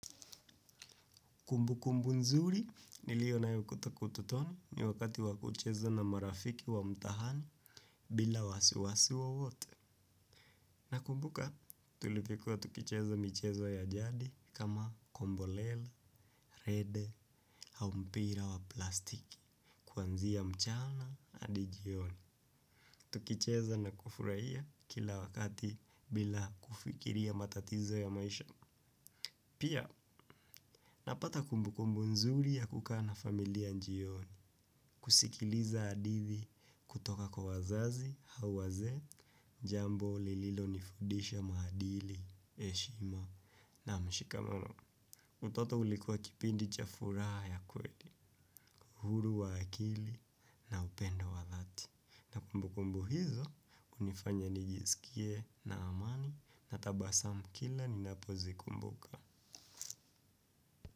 Kumbu kumbu nzuli nilio nayo kutoka utotoni ni wakati wa kucheza na marafiki wa mtaahani bila wasiwasi wowote. Nakumbuka tulivyokuwa tukicheza michezo ya jadi kama kombolel, rede, hau mpira wa plastiki, kuanzia mchana adi jioni. Tukucheza na kufurahia kila wakati bila kufikiria matatizo ya maisha. Pia napata kumbu kumbu nzuri ya kukaa na familia njioni, kusikiliza adithi, kutoka kwa wazazi, hau wazee, jambo lililo nifudisha maadili, eshima na mshikamano. Utoto ulikuwa kipindi cha furaha ya kweli, huru wa akili na upendo wa dhati. Na kumbu kumbu hizo unifanya nijisikie na amani na tabasamu kila ninapo zikumbuka.